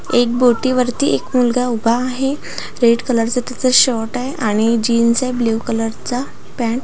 एक बोटीवरती एक मुलगा उभा आहे रेड कलर चा त्याचा शर्ट आहे आणि जीन्स आहे ब्ल्यु कलरचा पॅन्ट --